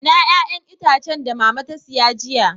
Ina 'ƴa'ƴan itacen da mama ta siya jiya?